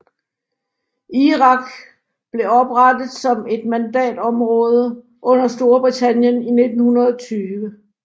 Irak blev oprætet som et mandatområde under Storbritannien i 1920